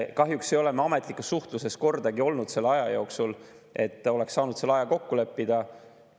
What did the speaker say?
Kahjuks ei ole me ametlikus suhtluses kordagi olnud selle aja jooksul, et oleks saanud aja kokku leppida.